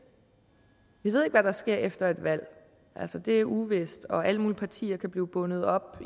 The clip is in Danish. vi ved ikke hvad der sker efter et valg det er uvist og alle mulige partier kan blive bundet op